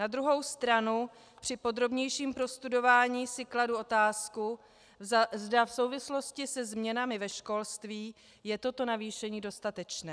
Na druhou stranu při podrobnějším prostudování si kladu otázku, zda v souvislosti se změnami ve školství je toto navýšení dostatečné.